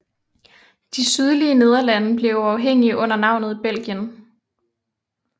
De sydlige Nederlande blev uafhængige under navnet Belgien